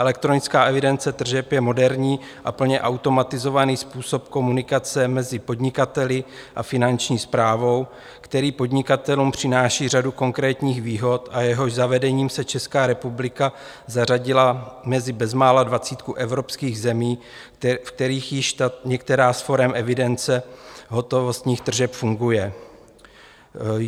Elektronická evidence tržeb je moderní a plně automatizovaný způsob komunikace mezi podnikateli a Finanční správou, který podnikatelům přináší řadu konkrétních výhod a jehož zavedením se Česká republika zařadila mezi bezmála dvacítku evropských zemí, v kterých již některá z forem evidence hotovostních tržeb funguje.